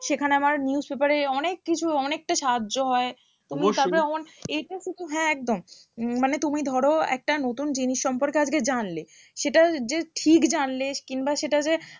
সেখানে আমার newspaper এ অনেক কিছু অনেকটা সাহায্য হয় অবশ্যই তুমি তারপর এটা শুধু হ্যাঁ একদম উম মানে তুমি ধরো একটা নতুন জিনিস সম্পর্কে আজকে জানলে সেটা যে ঠিক জানলে কিংবা সেটা যে